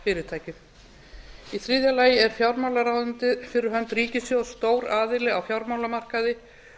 í fjármálafyrirtækjum í þriðja lagi er fjármálaráðuneytið fyrir hönd ríkissjóðs stór aðili á fjármálamarkaði